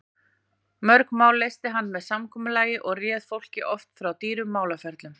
Mörg mál leysti hann með samkomulagi og réð fólki oft frá dýrum málaferlum.